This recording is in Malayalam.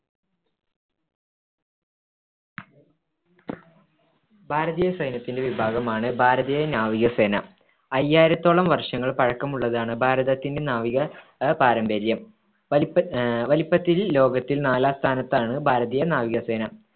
ഭാരതീയ സൈന്യത്തിലെ വിഭാഗമാണ് ഭാരതീയ നാവികസേന. അയ്യായിരത്തോളം വർഷങ്ങൾ പഴക്കമുള്ളതാണ് ഭാരതത്തിൻടെ നാവിക അഹ് പാരമ്പര്യം. വലുപ്പ ആഹ് വലുപ്പത്തിൽ ലോകത്തിൽ നാലാം സ്ഥാനത്താണ് ഭാരതീയ നാവികസേന.